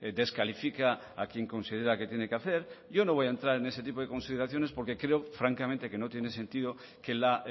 descalifica a quien considera que tiene que hacer yo no voy a entrar en ese tipo de consideraciones porque creo francamente que no tiene sentido que la